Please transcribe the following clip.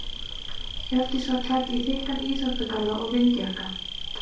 Hjördís var klædd í þykkan íþróttagalla og vindjakka.